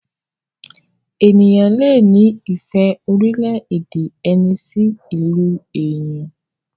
ènìyàn lẹ ní ìfẹ́ orílẹ̀-èdè ẹni sí ilú èyán.